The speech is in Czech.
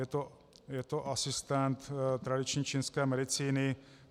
Je to asistent tradiční čínské medicíny.